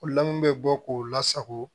bɛ bɔ k'u lasago